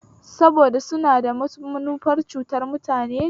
Saboda suna da manufar cutar mutane ne